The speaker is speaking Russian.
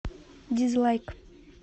дизлайк